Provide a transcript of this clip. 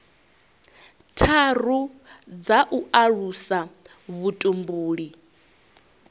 tharu dza u alusa vhutumbuli